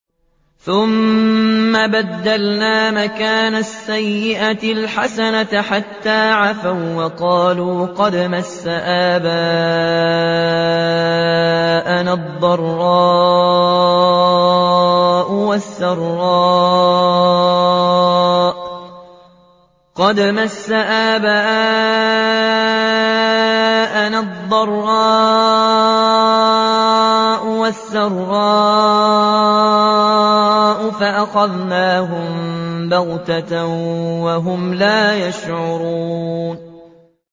ثُمَّ بَدَّلْنَا مَكَانَ السَّيِّئَةِ الْحَسَنَةَ حَتَّىٰ عَفَوا وَّقَالُوا قَدْ مَسَّ آبَاءَنَا الضَّرَّاءُ وَالسَّرَّاءُ فَأَخَذْنَاهُم بَغْتَةً وَهُمْ لَا يَشْعُرُونَ